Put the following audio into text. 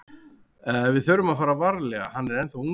Við þurfum að fara varlega, hann er ennþá ungur.